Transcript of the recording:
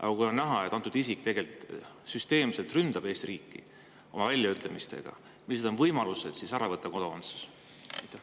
Aga kui on näha, et antud isik ründab süsteemselt Eesti riiki oma väljaütlemistes, siis millised on võimalused temalt kodakondsus ära võtta?